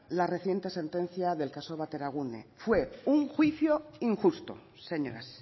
la reciente sentencia del caso bateragune fue un juicio injusto señoras